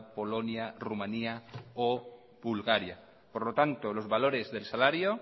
polonia rumania o bulgaria por lo tanto los valores del salario